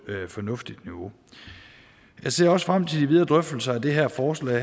fornuftigt niveau jeg ser også frem til de videre drøftelser af det her forslag